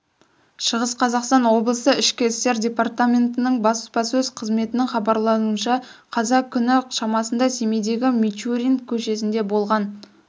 шығыс қазақстан облысы ішкі істер департаментінің баспасөз қызметінің хабарлауынша қазан күні шамасында семейдегі мичурин көшесінде болған